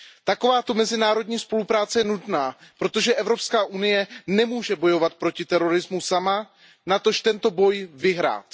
Takováto mezinárodní spolupráce je nutná, protože Evropská unie nemůže bojovat proti terorismu sama, natož tento boj vyhrát.